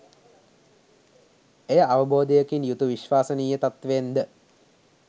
එය අවබෝධයකින් යුතු විශ්වසනීය තත්ත්වයෙන් ද